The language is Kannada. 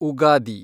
ಉಗಾದಿ